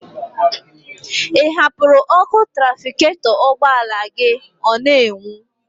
Ị hapụrụ ọkụ trafikatọ ugbọala gị ọ n'enwu?